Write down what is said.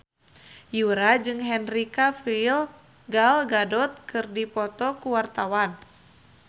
Yura jeung Henry Cavill Gal Gadot keur dipoto ku wartawan